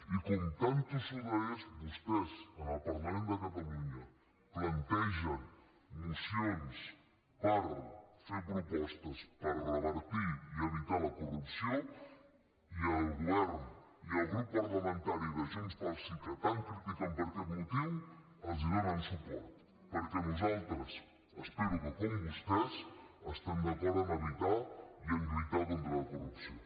i com tan tossuda és vostès en el parlament de catalunya plantegen mocions per fer propostes per revertir i evitar la corrupció i el grup parlamentari de junts pel sí que tant critiquen per aquest motiu els donen suport perquè nosaltres espero que com vostès estem d’acord en evitar i en lluitar contra la corrupció